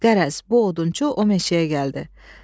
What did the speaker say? Qərəz, bu odunçu o meşəyə gəldi.